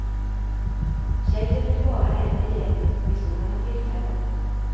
Tjejen blir bara en i gänget vid sådana tillfällen.